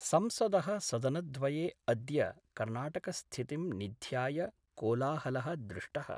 संसद: सदनद्वये अद्य कर्णाटकस्थितिं निध्याय कोलाहल: दृष्टः।